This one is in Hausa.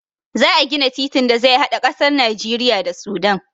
Za a gina titin da zai hada ƙasar Najeriya da Sudan.